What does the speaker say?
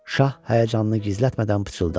Şah həyəcanını gizlətmədən pıçıldadı: